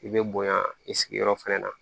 I bɛ bonya i sigiyɔrɔ fɛnɛ na